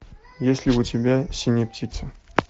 есть ли у тебя синяя птица